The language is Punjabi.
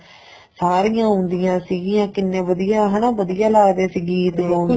ਸਾਰੀਆਂ ਆਉਂਦੀਆਂ ਸੀਗੀਆਂ ਕਿੰਨੇ ਵਧੀਆ ਹੈਨਾ ਵਧੀਆ ਲੱਗਦੇ ਸੀ ਗੀਤ ਗਾਉਂਦੇ